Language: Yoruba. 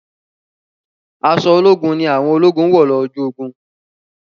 Aṣọ ológun ni àwọn ológun wọ̀ lọ ojú ogun.